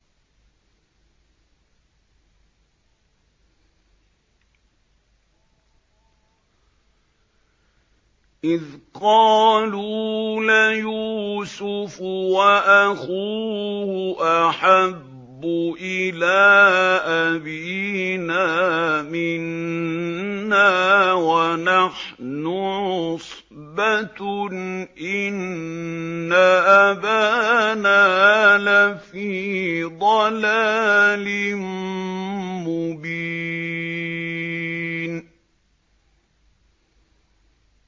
إِذْ قَالُوا لَيُوسُفُ وَأَخُوهُ أَحَبُّ إِلَىٰ أَبِينَا مِنَّا وَنَحْنُ عُصْبَةٌ إِنَّ أَبَانَا لَفِي ضَلَالٍ مُّبِينٍ